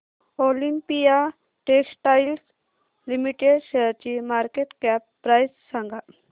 Olympia textiles limited शेअरची market cap price सांगा